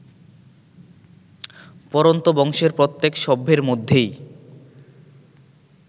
পরন্তু বংশের প্রত্যেক সভ্যের মধ্যেই